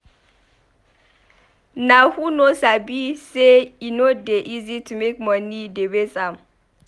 Nah who no sabi sey e no dey easy to make moni dey waste am.